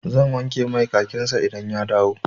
Zan wanke mai kakin sa idan ya dawo.